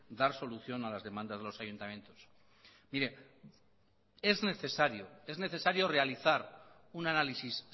dar solución a las demandas de los ayuntamientos mire es necesario realizar un análisis